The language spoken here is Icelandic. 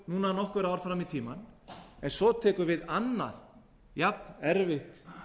núna nokkur ár fram í tímann en svo tekur við annað jafnerfitt